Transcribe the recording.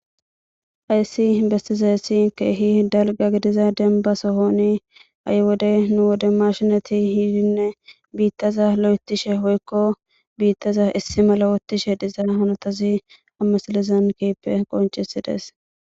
Hayssi bestiza yessi keehi dalga gidiza denba sohoni ay wode nu wode mashinati hiidinne biittaza lo'etishe hoykko biittaza issi mala wottishe diza hanotazi ammasilizan kiippe qoncisi dees.